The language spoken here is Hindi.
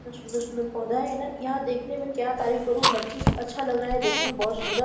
इतना सुंदर-सुंदर पौधा है ना यहां देखने में क्या तारीफ करूं हर चीज अच्छा लग रहा है देखने में बहुत सुंदर --